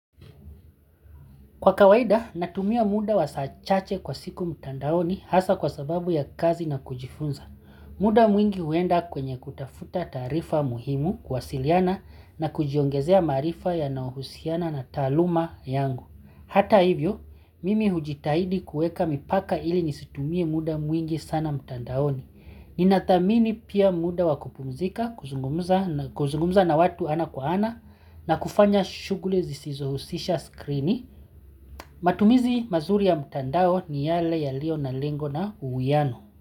Kwa kawaida, natumia muda wa saa chache kwa siku mtandaoni hasa kwa sababu ya kazi na kujifunza. Muda mwingi huenda kwenye kutafuta taarifa muhimu kuwasiliana na kujiongezea maarifa yanaohusiana na taaluma yangu. Hata hivyo, mimi hujitahidi kuweka mipaka ili nisitumie muda mwingi sana mtandaoni. Ninathamini pia muda wa kupumzika, kuzungumza na watu ana kwa ana na kufanya shughuli zisizohusisha skrini matumizi mazuri ya mtandao ni yale yaliyo na lengo na uwiano.